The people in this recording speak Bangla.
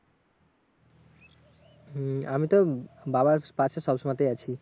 হম আমিতো বাবার পাশে সবসময়তেই আছি।